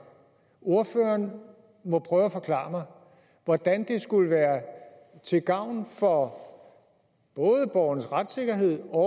ordføreren må prøve at forklare mig hvordan det skulle være til gavn for både borgernes retssikkerhed og